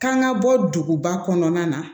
Kan ka bɔ duguba kɔnɔna na